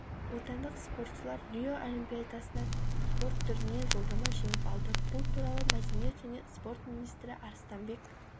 отандық спортшылар рио олимпиадасына спорт түрінен жолдама жеңіп алды бұл туралы мәдениет және спорт министрі арыстанбек